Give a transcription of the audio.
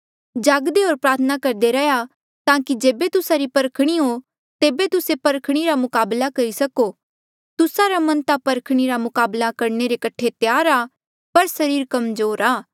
जागदे होर प्रार्थना करदे रैहया ताकि जेबे तुस्सा री परखणी हो तेबे तुस्से परखणी रा मुकाबला करी सको तुस्सा रा मन ता परखणी रा मुकाबला करने कठे त्यार आ पर सरीर कमजोर आ